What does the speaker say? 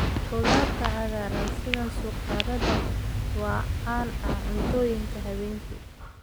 Khudaarta cagaaran sida suqaarada waa caan ah cuntooyinka habeenkii.